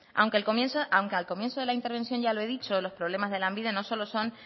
aunque al comienzo de la intervención ya lo he dicho los problemas de lanbide no solo son